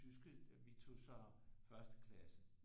Tyske vi tog så første klasse